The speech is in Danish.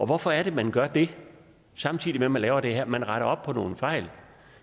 hvorfor er det man gør det samtidig med at man laver det her man retter op på nogle fejl